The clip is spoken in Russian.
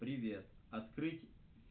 привет открыть